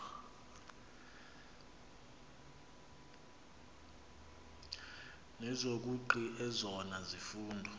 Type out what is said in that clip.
nezobugqi ezona zifundo